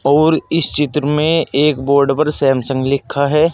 और इस चित्र में एक बोर्ड पर सैमसंग लिखा है।